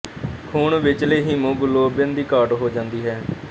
ਖ਼ੂਨ ਵਿੱਚਲੇ ਹੀਮੋਗਲੋਬਿਨ ਦੀ ਘਾਟ ਹੋ ਜਾਂਦੀ ਹੈ